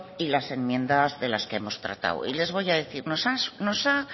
y las enmiendas de las que hemos tratado y les voy a decir